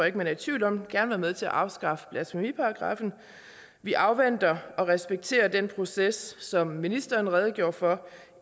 ikke man er i tvivl om gerne være med til at afskaffe blasfemiparagraffen vi afventer og respekterer den proces som ministeren redegjorde for